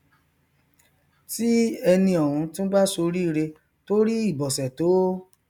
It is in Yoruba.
tí ẹni ọhún tún bá ṣoríire tó rí ibọsẹ tó